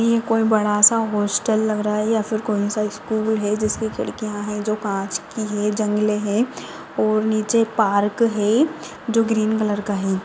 हे कोई बड़ासा हॉस्टल लग रहा है यहा कोई साइड फूल है जिसके खिडकीया है जो काच की है जंगले है और नीचे पार्क है जो ग्रीन कलर का है।